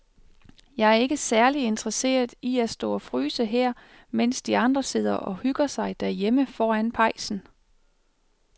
Jeg er ikke særlig interesseret i at stå og fryse her, mens de andre sidder og hygger sig derhjemme foran pejsen.